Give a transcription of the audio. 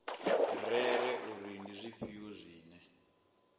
rere uri ndi zwifhio zwine